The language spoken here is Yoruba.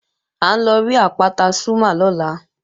À ń lọ rí àpáta Zúmá lọ́la